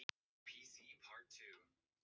Þess vegna meðal annars heldur þú á þessari bók.